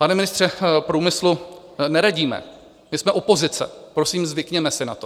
Pane ministře průmyslu, neradíme, my jsme opozice, prosím, zvykněme si na to.